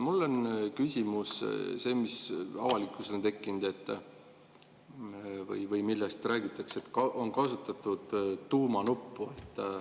Mul on see küsimus, mis avalikkusel on tekkinud selle kohta, kui räägitakse, et on kasutatud tuumanuppu.